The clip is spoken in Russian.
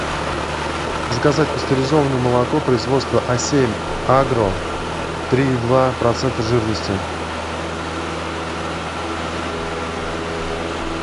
заказать пастеризованное молоко производства а семь агро три и два процента жирности